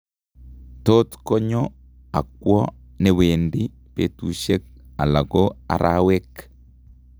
Tot konyoo akwoo newendii betusiek ala ko arawek